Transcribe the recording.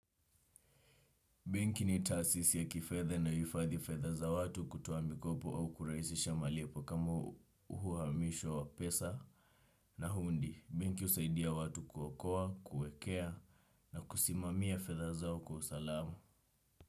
Bengi ni tasisi ya kifedhd na uifadhi fedha za watu kutoa mikopo au kuraisisha malipo kama uhuhamisho wa pesa na hundi. Bengi usaidia watu kuokoa, kuekea na kusimamia fedha zao kwa usalama.